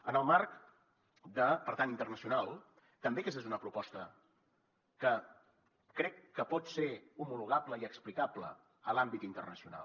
en el marc per tant internacional també aquesta és una proposta que crec que pot ser homologable i explicable en l’àmbit internacional